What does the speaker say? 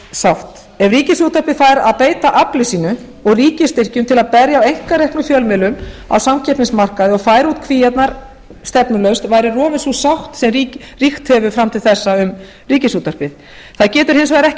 sátt ef ríkisútvarpið fær að beita afli sínu og ríkisstyrkjum til að berja á einkareknum fjölmiðlum á samkeppnismarkaði og færa út kvíarnar stefnulaust væri rofin sú sátt sem ríkt hefur fram til þessa um ríkisútvarpið það getur hins vegar ekki